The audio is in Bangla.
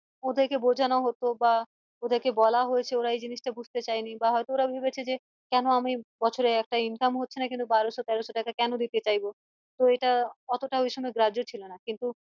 ওদের কে বোঝানো হতো বা ওদের কে বলা হয়েছে ওরা এই জিনিস টা বুঝতে চাইনি বা হয়তো ওরা ভেবেছে যে কেন আমি বছরে একটা income হচ্ছে না কিন্তু বারোশো তেরোশো টাকা কেন দিতে চাইবো তো এটা অতটা ওই সময় গ্রাহ্য ছিল না কিন্তু